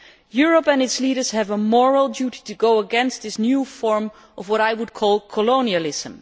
Europe and its leaders have a moral duty to go against this new form of what I would call colonialism.